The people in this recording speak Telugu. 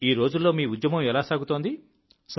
ఈ రోజుల్లో మీ ఉద్యమం ఎలా సాగుతోంది